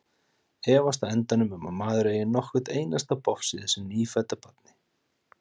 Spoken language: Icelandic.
Efast á endanum um að maður eigi nokkurt einasta bofs í þessu nýfædda barni.